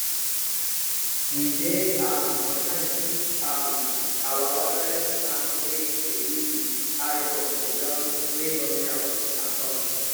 we dey um sometimes fix um our watering can wey d leek with iron wey don melt and torch